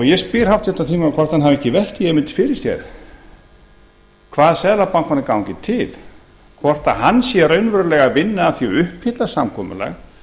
ég spyr háttvirtan þingmann hvort hann hafi ekki velt því neitt fyrir sér hvað seðlabankanum gangi til hvort hann sé raunverulega að vinna að því að uppfylla samkomulag